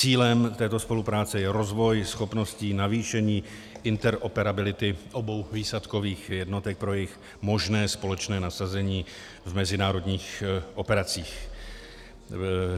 Cílem této spolupráce je rozvoj schopností navýšení interoperability obou výsadkových jednotek pro jejich možné společné nasazení v mezinárodních operacích.